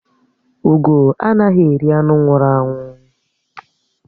Ugó anaghị eri anụ nwụrụ anwụ